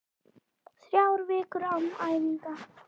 Þrjár vikur án æfinga?